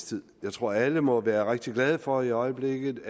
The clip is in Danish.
tid jeg tror at alle må være rigtig glade for i øjeblikket